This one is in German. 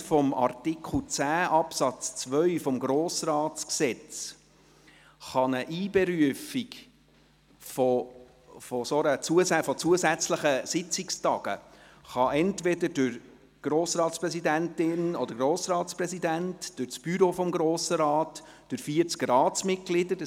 Aufgrund von Artikel 10 Absatz 2 des Gesetzes über den Grossen Rat (Grossratsgesetz, GRG) kann eine Einberufung zusätzlicher Sitzungstage entweder durch die Grossratspräsidentin oder durch den Grossratspräsidenten oder durch das Büro des Grossen Rates oder durch 40 Ratsmitglieder erfolgen.